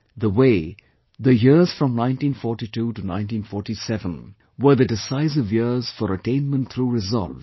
The way, the years from 1942 to 1947 were the decisive years for attainment through resolve